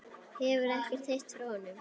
Hefurðu ekkert heyrt frá honum?